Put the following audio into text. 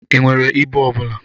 I nwere ibu ọbụla?